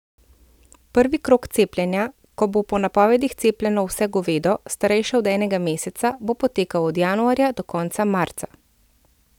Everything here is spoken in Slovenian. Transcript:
Prvi krog cepljenja, ko bo po napovedih cepljeno vse govedo, starejše od enega meseca, bo potekal od januarja do konca marca.